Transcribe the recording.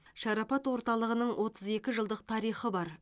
шарапат орталығының отыз екі жылдық тарихы бар